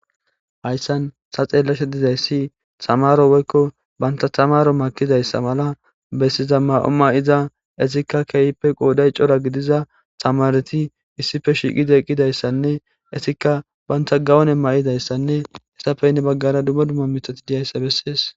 Hayssann tha xeellashe dizayssi thamaaro woykko banththa thamaaro ekkizayssa mala bessiza maa7o maa7iza ethikka keehippe qooday cora gidiza thamaarethi issipe shiiqidi eqqidayssanne ethikka banththa gawune maayizayssanne ethappe hini baggara dumma dumma miththathi dizeyssa bessees.